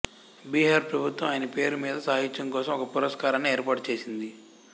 బీహార్ ప్రభుత్వం ఆయన పేరు మీద సాహిత్యం కోసం ఒక పురస్కారాన్ని ఏర్పాటు చేసింది